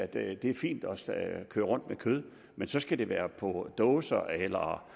det er fint at køre rundt med kød men så skal det være på dåse eller